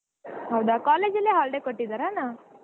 ಹೌದಾ college ಅಲ್ಲೆ holiday ಕೊಟ್ಟಿದ್ದರಣ್ಣ?